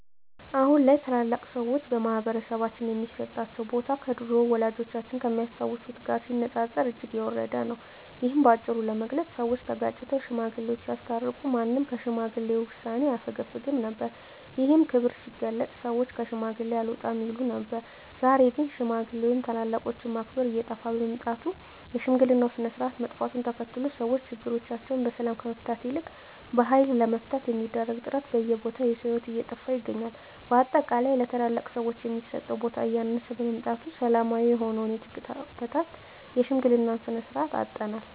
አሁን ላይ ታላላቅ ሰዎች በማህበረሰባችን ሚሰጣቸው ቦታ ከድሮው ወላጆቻችን ከሚያስታውሱት ጋር ሲነጻጸር እጅግ የወረደ ነው። እሂን በአጭሩ ለመግለጽ ሰወች ተጋጭተው ሽማግሌወች ሲያስታርቁ ማንም ከሽማግሌ ውሳኔ አያፈገፍግም ነበር። ይህም ክብር ሲገለጽ ሰወች ከሽማግሌ አልወጣም ይሉ ነበር። ዛሬ ላይ ግን ሽማግሌ ወይም ታላላቆችን ማክበር እየጠፋ በመምጣቱ የሽምግልናው ስርአት መጥፋቱን ተከትሎ ሰወች ችግሮቻቸውን በሰላም ከመፍታት ይልቅ በሀይል ለመፍታት በሚደረግ ጥረት በየቦታው የሰው ሂወት እየጠፋ ይታያል። በአጠቃላይ ለታላላቅ ሰወች የሚሰጠው ቦታ እያነሰ በመምጣቱ ሰላማዊ የሆነውን የግጭት አፈታት የሽምግልናን ስርአት አጠናል።